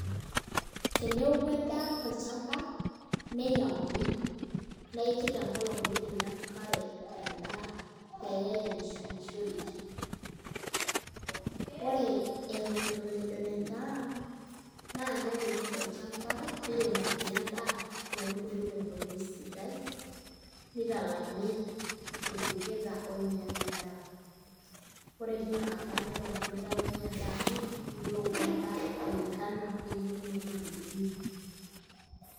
Teneoku endaa tolchamba nitauni neiki tenkolong' miting'o enkare tendaa pee eyai enshumishoreki ore eton ejon endaa naa keuni oshi olchamba niremokini endaa metubulu tenkoitoi sidai nitalami irbuketa oolam endaa ore tinkata neton mitayuni endaa amu itu eoku endaa kulingana o eyieunoto nayieuni.